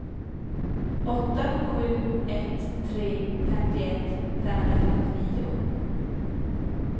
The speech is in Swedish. åtta sju ett tre femtioett femhundrafemtionio